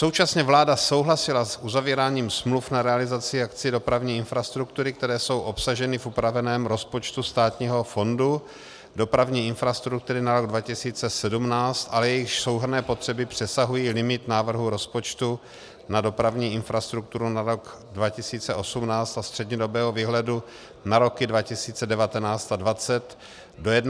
Současně vláda souhlasila s uzavíráním smluv na realizaci akcí dopravní infrastruktury, které jsou obsaženy v upraveném rozpočtu Státního fondu dopravní infrastruktury na rok 2017, ale jejichž souhrnné potřeby přesahují limit návrhu rozpočtu na dopravní infrastrukturu na rok 2018 a střednědobého výhledu na roky 2019 a 202 do 31. prosince roku 2017, a to do částky 2 miliard korun.